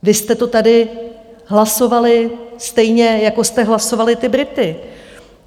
Vy jste to tady hlasovali stejně, jako jste hlasovali ty Brity.